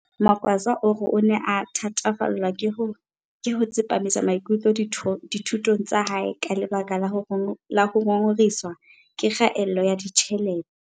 Magwaza o re o ne a thatafallwa ke ho tsepamisa maikutlo dithu tong tsa hae ka lebaka la ho ngongorehiswa ke kgaello ya ditjhelete.